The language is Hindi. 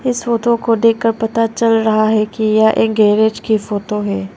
इस फोटो को देखकर पता चल रहा है कि यह एक गैरेज की फोटो है।